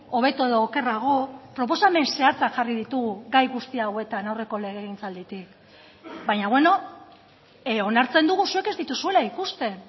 hobeto edo okerrago proposamen zehatzak jarri ditugu gai guzti hauetan aurreko legegintzalditik baina beno onartzen dugu zuek ez dituzuela ikusten